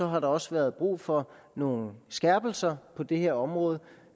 har der også været brug for nogle skærpelser på det her område